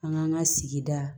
An k'an ka sigida